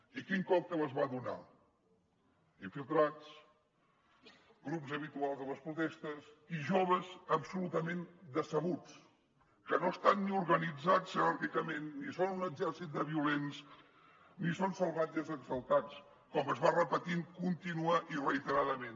i quin còctel es va donar infiltrats grups habituals a les protestes i joves absolutament decebuts que no estan ni organitzats jeràrquicament ni són un exèrcit de violents ni són salvatges exaltats com es va repetint contínua i reiteradament